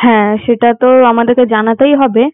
হ্যাঁ সেটা তো আমাদেরকে জানাতেই হবে